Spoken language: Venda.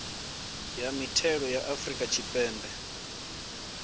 ya mithelo ya afrika tshipembe